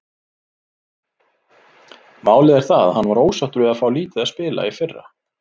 Málið er það að hann var ósáttur við að fá lítið að spila í fyrra.